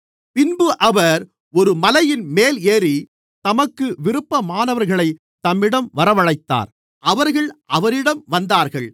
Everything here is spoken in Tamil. பின்பு அவர் ஒரு மலையின்மேல் ஏறி தமக்கு விருப்பமானவர்களைத் தம்மிடம் வரவழைத்தார் அவர்கள் அவரிடம் வந்தார்கள்